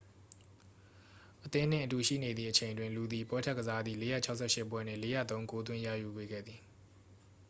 အသင်းနှင့်အတူရှိနေသည့်အချိန်အတွင်း သူသည် ပွဲထွက်ကစားသည့် 468 ပွဲတွင် 403 ဂိုးသွင်းရယူပေးခဲ့သည်